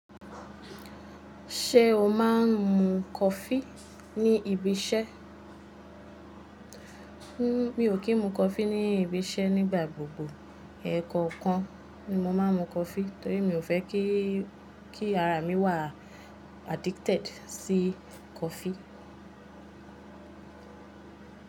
Ṣé o máa ń mu coffee ní ibi iṣẹ́? N-- mi ò kí ń mu coffee ní ibi iṣẹ́ nígbà gbogbo. Ẹẹ̀ ko kan ni mo máa ń mu coffee torí mi ò fẹ́ kí, kí ara mi wà addicted sí coffee.